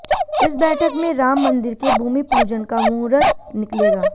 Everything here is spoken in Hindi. इस बैठक में राम मंदिर के भूमिपूजन का मुहूर्त निकलेगा